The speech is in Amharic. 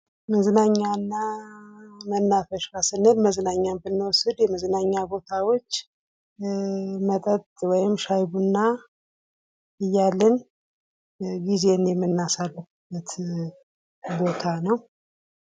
መዝናኛ እና መናፈሻ ስንል መዝናኛን ብንወስድ መጠጥ ወይም ሻይ ቡና እያልን የምናሳልፍበት ቦታ ነዉ።